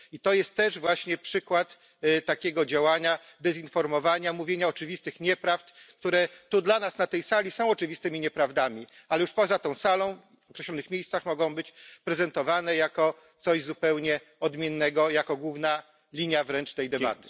I to jest też właśnie przykład takiego działania, dezinformowania, mówienia oczywistych nieprawd, które tu dla nas na tej sali są oczywistymi nieprawdami, a już poza tą salą w określonych miejscach mogą być prezentowane jako coś zupełnie odmiennego, jako główna linia wręcz tej debaty.